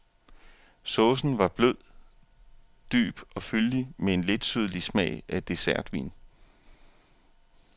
Saucen var blød, dyb og fyldig med en letsødlig smag af dessertvin.